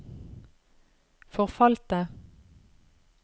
forfalte